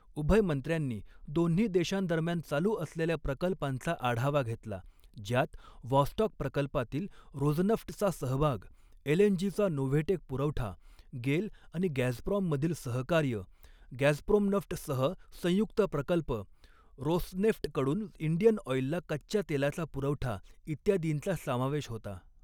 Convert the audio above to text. उभय मंत्र्यांनी दोन्ही देशांदरम्यान चालू असलेल्या प्रकल्पांचा आढावा घेतला, ज्यात व्हॉस्टॉक प्रकल्पातील रोझनफ्टचा सहभाग, एलएनजीचा नोव्हेटेक पुरवठा, गेल आणि गॅझप्रॉममधील सहकार्य, गॅझप्रोम्नफ्ट सह संयुक्त प्रकल्प, रोसनेफ्टकडून इंडियन ऑईलला कच्च्या तेलाचा पुरवठा इत्यादींचा समावेश होता.